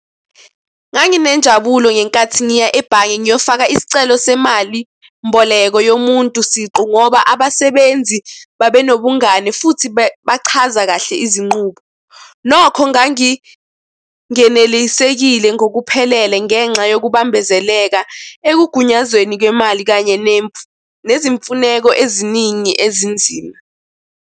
Nganginenjabulo ngenkathi ngiya ebhange niyofaka isicelo semali mboleko yomuntu siqu, ngoba abasebenzi babenobungani futhi bachaza kahle izinqubo. Nokho ngangingenelisekile ngokuphelele ngenxa yokubambezeleka ekugunyazweni kwemali, kanye nezimfuneko eziningi ezinzima.